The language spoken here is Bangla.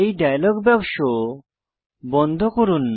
এই ডায়লগ বাক্স বন্ধ করুন